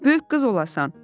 Böyük qız olasan.